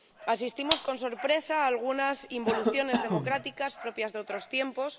Asistimos con sorpresa a algunas involuciones democráticas propias de otros tiempos.